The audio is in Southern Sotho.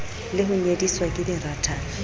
le ho nyediswa ke dirathana